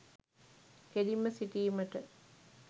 කෙළින්ම සිටීමට